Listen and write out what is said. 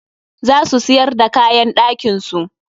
Za su siyar d kaayan ɗakin su.